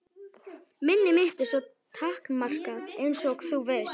Minni mitt er svo takmarkað einsog þú veist.